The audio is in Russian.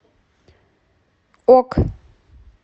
ок